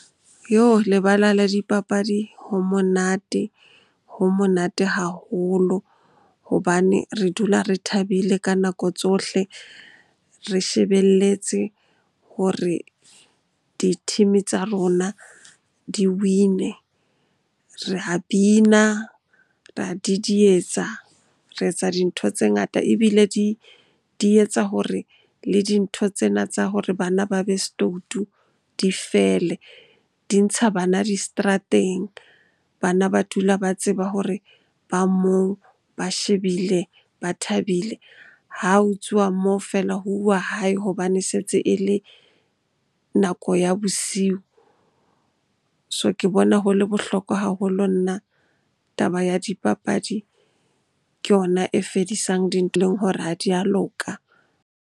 Lebala la dipapadi ho monate, ho monate haholo hobane re dula re thabile ka nako tsohle re shebelletse hore di-team-e tsa rona di-win-e. Re a bina, ra didietsa, re etsa dintho tse ngata ebile di etsa hore le dintho tsena tsa hore bana ba be stoutu di fele. Di ntsha bana di seterateng, bana ba dula ba tseba hore ba moo, ba shebile, ba thabile. Ha ho tsuwa moo feela ho uwa hae hobane se tse e le nako bosiu. So, ke bona ho le bohlokwa haholo nna taba ya dipapadi. Ke yona e fedisang hore ha di a loka.